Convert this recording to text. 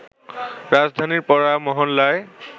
রাজধানীর পাড়া-মহল্লায়